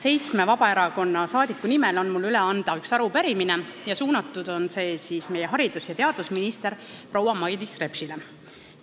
Seitsme Vabaerakonna saadiku nimel annan ma üle ühe arupärimise, suunatud on see meie haridus- ja teadusministrile proua Mailis Repsile.